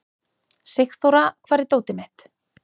Sigþóra, hvar er dótið mitt?